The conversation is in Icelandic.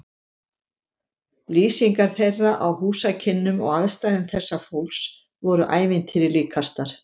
Lýsingar þeirra á húsakynnum og aðstæðum þessa fólks voru ævintýri líkastar.